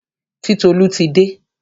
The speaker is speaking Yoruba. Titolú ti dé.